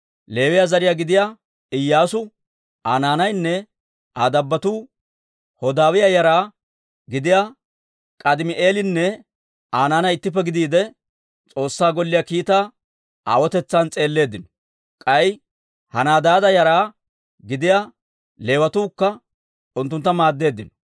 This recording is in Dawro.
Leewiyaa zariyaa gidiyaa Iyyaasu, Aa naanaynne Aa dabbotuu, Hodaawiyaa yara gidiyaa K'aadimi'eelinne Aa naanay ittippe gidiide, S'oossaa Golliyaa kiitaa aawotetsan s'eelleeddino; k'ay Henadaada yara gidiyaa Leewatuukka unttunttu maaddeeddino.